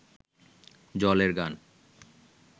জলের গান